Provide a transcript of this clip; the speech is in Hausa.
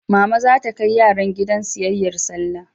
Mama za ta kai yaran gidan siyayyar Sallah.